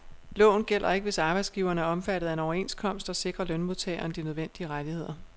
Loven gælder ikke, hvis arbejdsgiveren er omfattet af en overenskomst, der sikrer lønmodtageren de nødvendige rettigheder.